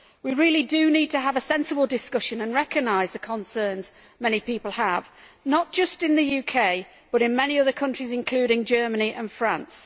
We need to have a sensible discussion and to recognise the concerns that many people have, not just in the UK but also in many other countries, including Germany and France.